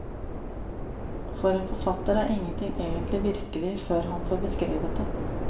For en forfatter er ingenting egentlig virkelig før han har fått beskrevet det.